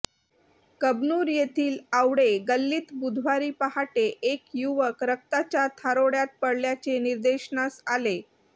कबनूर येथील आवळे गल्लीत बुधवारी पहाटे एक युवक रक्ताच्या थारोळ्यात पडल्याचे निदर्शनास आले